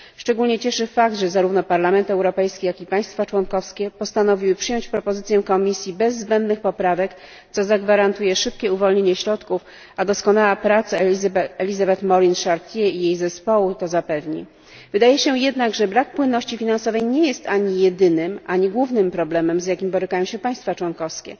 Szczególnie cieszy fakt, że zarówno Parlament Europejski, jak i państwa członkowskie postanowiły przyjąć propozycję Komisji bez zbędnych poprawek, co zagwarantuje szybkie uwolnienie środków, a doskonała praca Elisabeth Morin Chartier i jej zespołu to zapewni. Wydaje się jednak, że brak płynności finansowej nie jest ani jedynym, ani głównym problemem, z jakim borykają się państwa członkowskie.